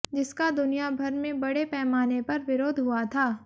जिसका दुनिया भर में बड़े पैमाने पर विरोध हुआ था